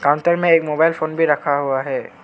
अंदर में एक मोबाइल फोन भी रखा हुआ है।